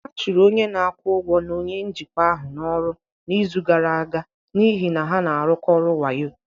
A chụrụ onye na-akwụ ụgwọ na onye njikwa ahụ n'ọrụ n'izu gara aga n'ihi na ha na-arụkọ ọrụ wayo